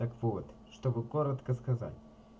так вот чтобы коротко сказать